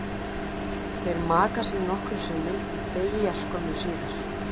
Þeir maka sig nokkrum sinnum og deyja skömmu síðar.